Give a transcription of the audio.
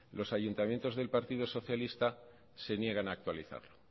los ayuntamientos del partido socialista se niegan a actualizarlo